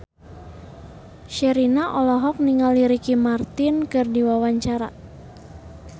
Sherina olohok ningali Ricky Martin keur diwawancara